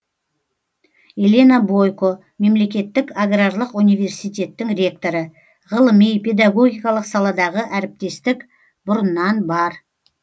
елена бойко мемлекеттік аграрлық университеттің ректоры ғылыми педогогикалық саладағы әріптестік бұрыннан бар